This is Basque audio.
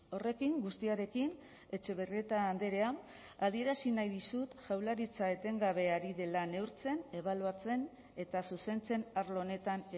horrekin guztiarekin etxebarrieta andrea adierazi nahi dizut jaurlaritza etengabe ari dela neurtzen ebaluatzen eta zuzentzen arlo honetan